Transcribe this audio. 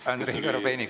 Andrei Korobeinik, palun!